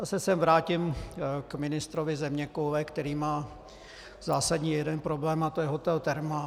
Zase se vrátím k ministrovi zeměkoule, který má zásadní jeden problém, a to je hotel Thermal.